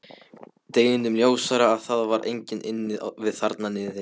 Deginum ljósara að það var enginn inni við þarna niðri.